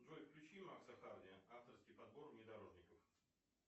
джой включи макса харди авторский подбор внедорожников